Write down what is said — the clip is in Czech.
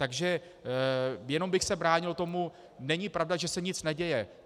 Takže jenom bych se bránil tomu, není pravda, že se nic neděje.